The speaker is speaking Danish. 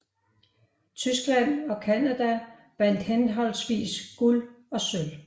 Tyskland og Canada vandt henholdsvis guld og sølv